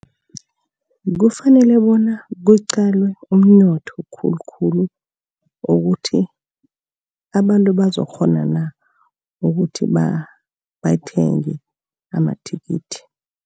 Kufanele bona kuqalwe umnotho khulukhulu, ukuthi abantu bazokukghona na ukuthi bathenge amathikithi.